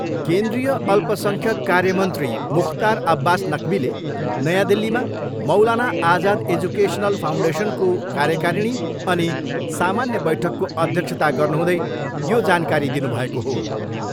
केन्द्रीय अल्पसङ्ख्यक कार्य मन्त्री मुख्तार अब्बास नक्बीले नयाँ दिल्लीमा मौलाना आजाद एजुकेसनल फाउन्डेसनको कार्यकारिणी अनि सामान्य बैठकको अध्यक्षता गर्नुहुँदै यो जानकारी दिनुभएको हो।